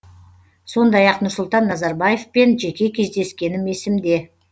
сондай ақ нұрсұлтан назарбаевпен жеке кездескенім есімде